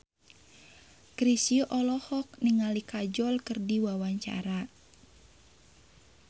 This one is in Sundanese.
Chrisye olohok ningali Kajol keur diwawancara